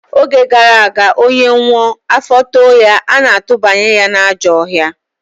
Oge gara aga, onye nwụọ, afọ too ya, ana-atụbanye n'ajọ ọhịa